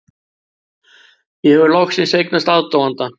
Ég hef loksins eignast aðdáanda.